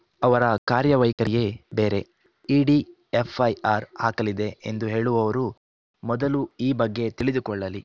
ಅವರ ಕಾರ್ಯವೈಖರಿಯೇ ಬೇರೆ ಇಡಿ ಎಫ್‌ಐಆರ್‌ ಹಾಕಲಿದೆ ಎಂದು ಹೇಳುವವರು ಮೊದಲು ಈ ಬಗ್ಗೆ ತಿಳಿದುಕೊಳ್ಳಲಿ